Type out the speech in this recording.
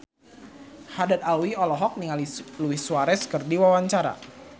Haddad Alwi olohok ningali Luis Suarez keur diwawancara